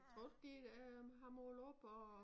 Tror du de ikke øh har målt op og